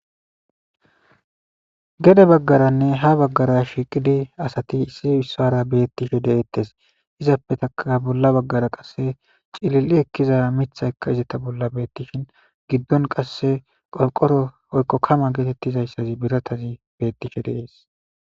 Gede baggaranne ha baggara shiiqidi asati issi wissara bettishe deeettes izappetaka bolla baggara qasse cilil'i ekkiza mitha ekka izata bolla beettishin giddon qasse qolqoro oykko kama geetettizayssazi biratazi bettishe de'ees.